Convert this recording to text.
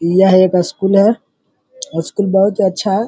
यह एक स्कूल है। स्कूल बहोत ही अच्छा है।